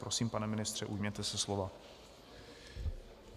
Prosím, pane ministře, ujměte se slova.